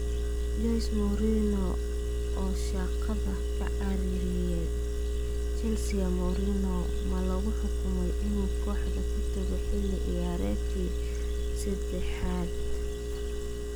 Jose Mourinho oo shaqada ka ceyriyay Chelsea Mourinho ma lagu xukumay inuu kooxda ka tago xilli ciyaareedkii seddexaad?